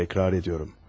Təkrar edirəm.